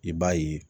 I b'a ye